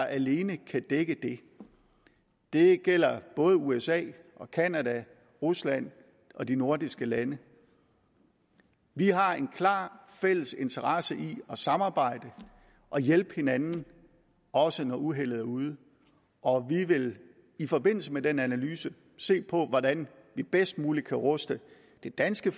alene kan dække det det gælder både usa canada rusland og de nordiske lande vi har en klar fælles interesse i at samarbejde og hjælpe hinanden også når uheldet er ude og vi vil i forbindelse med den analyse se på hvordan vi bedst muligt kan ruste det danske